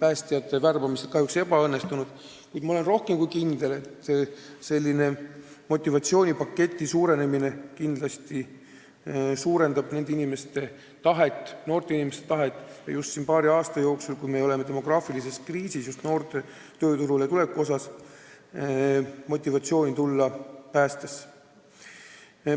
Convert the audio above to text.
päästjate värbamised kahjuks ebaõnnestunud, kuid ma olen rohkem kui kindel, et motivatsioonipaketi suurenemine kindlasti innustab noori inimesi tagant ja paari aasta jooksul, kui me oleme demograafilises kriisis just noorte tööturule tuleku osas, soovivad enamad neist tulla päästjaks.